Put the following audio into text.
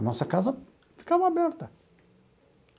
A nossa casa ficava aberta.